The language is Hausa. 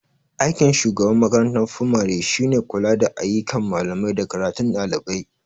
Aikin shugaban makarantar fimare shine kula da ayyukan malamai da karatun ɗalibai.